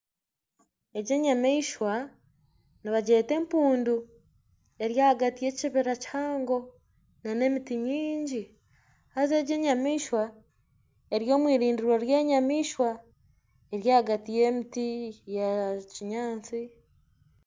Egi enyamaishwa nibangyeta empundu eri ahagati y'ekibira kihango na n'emiti maingi haza egi enyamaishwa eri omwirindiro ry'enyamaishwa eri ahagati y'emiti ya kinyaatsi.